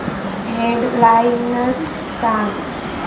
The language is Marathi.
हेड लाइन्स सांग